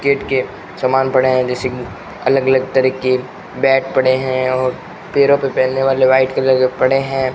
Cricket के समान पड़े हैं जैसे की अलग अलग तरीके बैट पड़े हैं और पैरों पर पहनने वाले वाइट कलर के पड़े हैं।